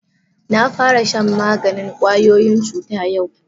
Na fara shan maganin kwayoyin cuta yau.